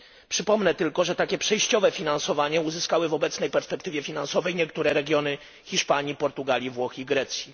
Przypomnę tylko, że takie przejściowe finansowanie uzyskały w obecnej perspektywie finansowej niektóre regiony Hiszpanii, Portugalii, Włoch i Grecji.